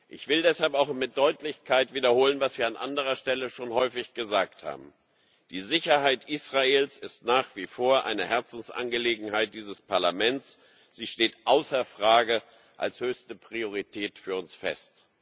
Ich will das aber auch mit Deutlichkeit wiederholen, was wir an anderer Stelle schon häufig gesagt haben Die Sicherheit Israels ist nach wie vor eine Herzensangelegenheit dieses Parlaments, sie steht außer Frage als höchste Priorität für uns fest.